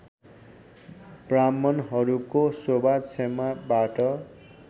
ब्राह्मणहरूको शोभा क्षमाबाट